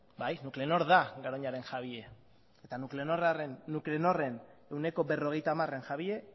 bai nuclenor da garoñaren jabea eta nuclenorren ehuneko berrogeita hamararen jabea